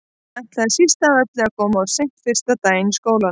Hann ætlaði síst af öllu að koma of seint fyrsta daginn í skólanum.